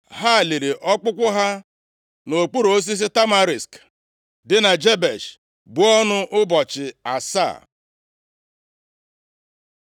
Ha liri ọkpụkpụ ha nʼokpuru osisi Tamarisk dị na Jebesh, buo ọnụ ụbọchị asaa.